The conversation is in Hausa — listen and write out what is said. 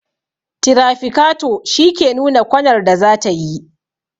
tirafikato shi ke nuna kwanar da zatayi